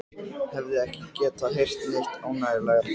Hefði ekki getað heyrt neitt ánægjulegra.